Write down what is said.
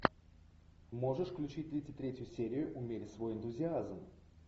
можешь включить тридцать третью серию умерь свой энтузиазм